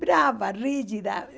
Brava, rígida.